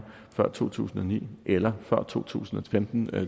før to tusind og ni eller før to tusind og femten